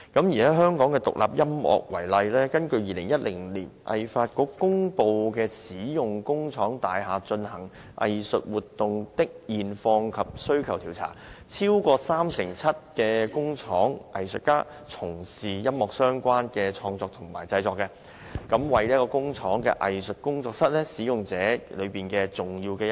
以香港的獨立音樂創作為例，根據2010年香港藝術發展局公布的"使用工廠大廈進行藝術活動的現況及需求調查"，超過三成七的工廠藝術家從事音樂相關的創作及製作，為工廠藝術工作室使用者中重要的一群。